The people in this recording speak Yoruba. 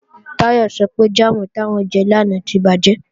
Táyọ̀ sọ pé jáàmù táwọn jẹ lánàá tí bàjẹ́